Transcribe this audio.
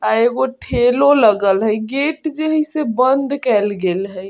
आ एगो ठेलो लगल हेय गेट जे हेय से बंद केल गेल हेय।